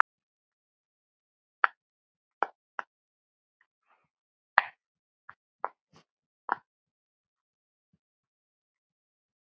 Kveðja Viðar.